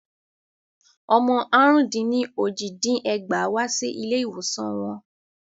Ọmọ àrún-dín-ní-ójì dín ẹgbàá wá sí ilé ìwòsan wọn.